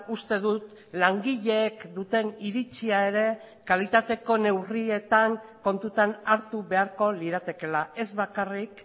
uste dut langileek duten iritzia ere kalitateko neurrietan kontutan hartu beharko liratekeela ez bakarrik